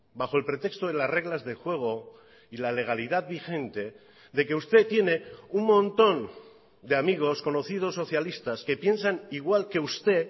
bajo el pretexto de las reglas de juego y la legalidad vigente de que usted tiene un montón de amigos conocidos socialistas que piensan igual que usted